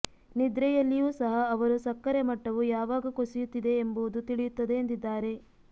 ನಿದ್ರೆಯಲ್ಲಿಯೂ ಸಹ ಅವರು ಸಕ್ಕರೆ ಮಟ್ಟವು ಯಾವಾಗ ಕುಸಿಯುತ್ತಿದೆ ಎಂಬುದು ತಿಳಿಯುತ್ತದೆ ಎಂದಿದ್ದಾರೆ